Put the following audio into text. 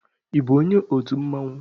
Ị bụ onye otu mmanwu?